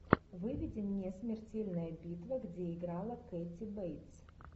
выведи мне смертельная битва где играла кэти бейтс